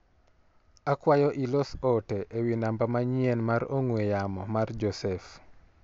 Akwayo ilos ote ewi namba manyien mar ong'ue yama mar Joseph.